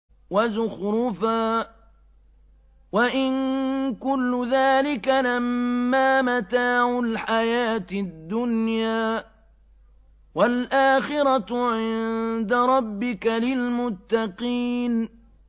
وَزُخْرُفًا ۚ وَإِن كُلُّ ذَٰلِكَ لَمَّا مَتَاعُ الْحَيَاةِ الدُّنْيَا ۚ وَالْآخِرَةُ عِندَ رَبِّكَ لِلْمُتَّقِينَ